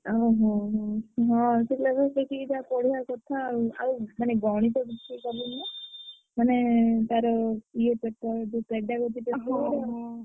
ଓହୋ ହୋ ହଁ syllabus ଦେଖିକି ଯାହା ପଢିଆ କଥା ଆଉ।